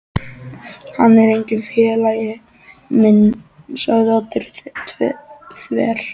Hann er enginn félagi minn sagði Oddur þver